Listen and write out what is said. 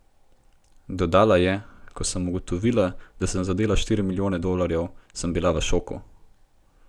Dodala je: 'Ko sem ugotovila, da sem zadela štiri milijone dolarjev, sem bila v šoku.